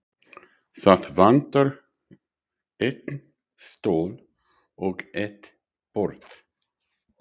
Það vantar einn stól og eitt borð.